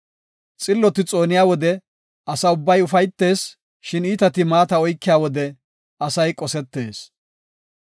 Xilloti xooniya wode asa ubbay ufaytees; shin iitati maata oykiya wode asay qosetees.